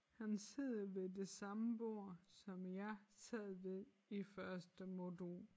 Han sidder ved det samme bord som jeg sad ved i første modul